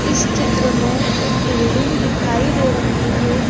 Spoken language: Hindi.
इस चित्र में एक बिल्डिंग दिखाई दे रही है।